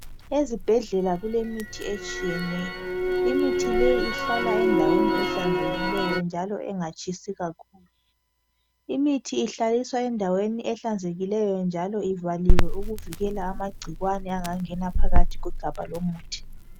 Ezibhedlela kulemithi etshiyeneyo. Imithi leyi ihlala endaweni ehlanzekileyo njalo engatshisi kakhulu . Imithi ihlaliswa endaweni ehlanzekileyo njalo ivaliwe ukuvikela amagcikwane angangena phakathi kwegabha lomuthi.